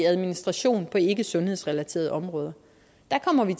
administration på ikkesundhedsrelaterede områder der kommer vi